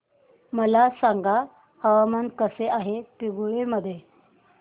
मला सांगा हवामान कसे आहे पिंगुळी मध्ये